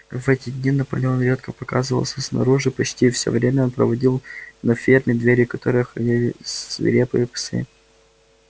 в эти дни наполеон редко показывался снаружи почти всё время он проводил на ферме двери которой охраняли свирепые псы